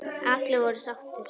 Allir voru sáttir.